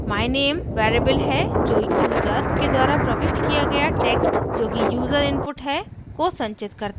myname variable है जो user के द्वारा प्रविष्ट किया गया text जोकि यूज़र input है को संचित करता है